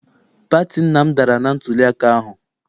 Pati nna m dara na ntuliaka ahụ.